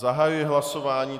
Zahajuji hlasování.